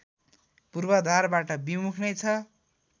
पूर्वाधारबाट विमुख नै छ